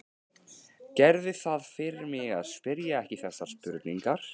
Gerðu það fyrir mig að spyrja ekki þessarar spurningar